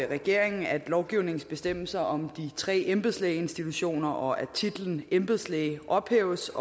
regeringen at lovgivningens bestemmelser om de tre embedslægeinstitutioner og titlen embedslæge ophæves